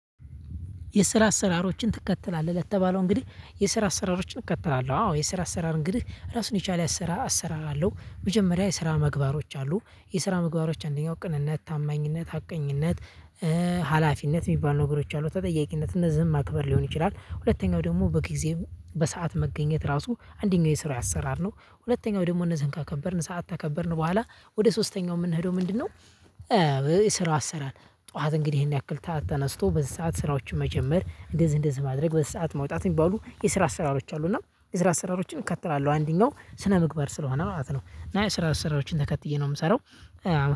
የስራ አሰራሮችን ትከተላለህ ለተባለው እንግዲህ የስራ አሰራሮችን እከተላለሁ አዎ የስራ አሰራር እንግዲህ ራሱን የቻለ አሰራር አሰራር አለው። መጀመሪያ የስራ መግባሮች አሉ የስራ ምግባሮች አንደኛው ቅንነት ታማኝነት ሀቀኝነት። ሀላፊነት የሚባል ነገሮች አሉ ተጠያቂነት እነዝህን ማክበር ሊሆን ይችላል። ሁለተኛው ደግሞ በጊዜም በሰአት መገኘት ራሱ አንደኛው የስራ አሰራር ነው። ሁለተኛው ደግሞ እነዚህን ካከበርን ሰዓት ካከበርን በኋላ ወደ ሶስተኛው የምንሄደው ምንድነው? እ ስራው አሰራር ጠዋት እንግዲህ ይሄን ያክል ሰዓት ተነስቶ በዚህ ሰዓት ስራዎችን መጀመር እንደዚህ እንደዚህ ማድረግ በዚህ ሰዓት መውጣት የሚባሉ የስራ አሰራሮች አሉ። እና የስራ አሰራሮችን እከተላለሁ። አንደኛው ስነ ምግባር ስለሆነ ማለት ነው። እና የስራ አሰራሮችን ተከትዬ ነው የምሰራው።